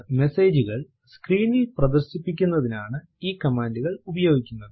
മെസേജുകൾ സ്ക്രീനിൽ പ്രദർശിപ്പിക്കുന്നതിനാണ് ഈ കമാൻഡ് ഉപയോഗിക്കുന്നത്